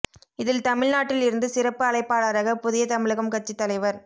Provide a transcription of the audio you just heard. இதில் தமிழ் நாட்டில் இருந்து சிறப்பு அழைப்பாளராக புதிய தமிழகம் கட்சி தலைவர்